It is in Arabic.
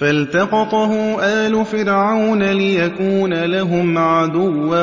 فَالْتَقَطَهُ آلُ فِرْعَوْنَ لِيَكُونَ لَهُمْ عَدُوًّا